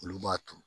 Olu b'a turu